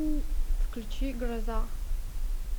включи гроза